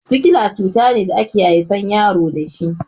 Sikila cutane da ake haifan yaro dashi